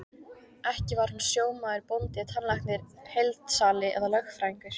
Ekki var hún sjómaður, bóndi, tannlæknir, heildsali eða lögfræðingur.